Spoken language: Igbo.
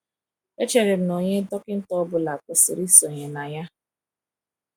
Echere m na onye dọkịta ọ bụla kwesịrị isonye na ya.